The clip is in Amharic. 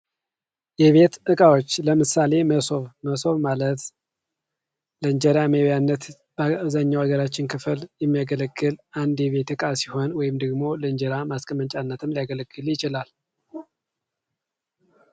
የቤት እቃወች፦ ለምሳሌ መሶብ፦ መሶብ ማለት ለእንጀራ መብያነት በአብዛኛው የሀገራችን ክፍል የሚያገለግል አንድ የቤት እቃ ሲሆን ለእንጀራ መብያነት ወይም ደግሞ ለእንጀራ ማስቀመጫነት ሊያገለግል ይችላል።